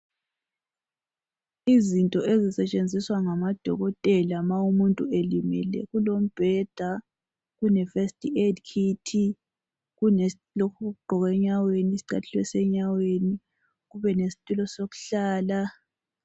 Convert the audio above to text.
Izinto ezisetshenziswa ngamadokotela lama umuntu elimele kulombheda kule first aid kit kulo lokhu okugqokwa enyaweni isicathulo senyaweni kulesitulo sokuhlala